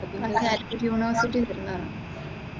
അത് കാലിക്കറ്റ് യൂണിവേഴ്സിറ്റിയിൽ ഇരുന്നാ.